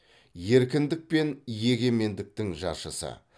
еркіндік пен егемендіктің жаршысы